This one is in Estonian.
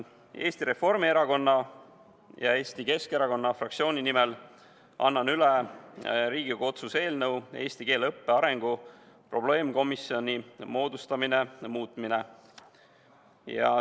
Eesti Reformierakonna ja Eesti Keskerakonna fraktsiooni nimel annan üle ka Riigikogu otsuse "Riigikogu otsuse "Eesti keele õppe arengu probleemkomisjoni moodustamine" muutmine" eelnõu.